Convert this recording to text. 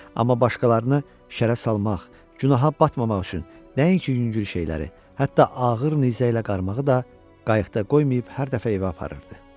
Amma başqalarını şərə salmaq, günaha batmamaq üçün nəinki yüngül şeyləri, hətta ağır nizə ilə qarmağı da qayıqda qoymayıb hər dəfə evə aparırdı.